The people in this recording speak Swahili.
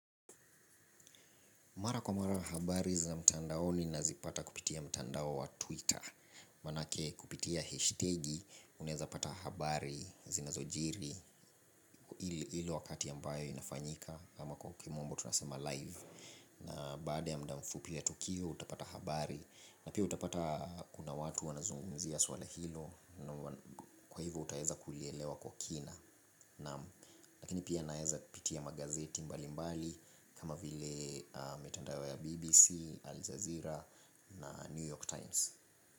Mara kwa mara habari zina mtandaoni nazipata kupitia mtandao wa twitter. Manake kupitia hashtagi unaeza pata habari zinazo jiri. Hilo wakati ambayo inafanyika ama kwa kimombo tunasema live na baada ya muda mfupi ya tukio utapata habari na pia utapata kuna watu wanazungumzia swala hilo. Kwa hivo utaweza kuielewa kwa kina lakini pia naeza pitia magazeti mbali mbali kama vile metandao ya BBC, Al Jazeera na New York Times.